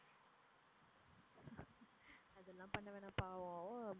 அதெல்லாம் பண்ண வேணாம் பாவம்.